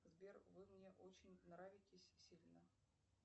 сбер вы мне очень нравитесь сильно